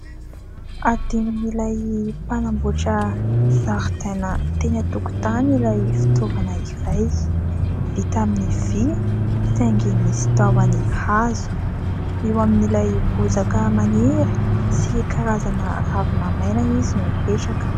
Adinon'ilay mpanamboatra zaridaina teny an-tokontany ilay fitaovana iray. Vita amin'ny vy saingy misy tahony hazo. Eo amin'ilay bozaka maniry sy karazana ravina maina izy no mipetraka.